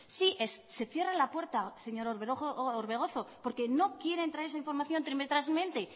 sí se cierra la puerta señor orbegozo porque no quieren traer esa información trimestralmente